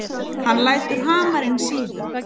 Hann lætur hamarinn síga.